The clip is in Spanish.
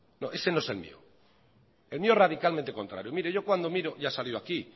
no ese no es el mío el mío es radicalmente contrario mire yo cuando miro ya salió aquí